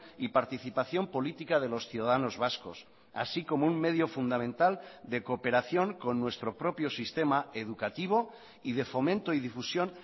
y participación política de los ciudadanos vascos así como un medio fundamental de cooperación con nuestro propio sistema educativo y de fomento y difusión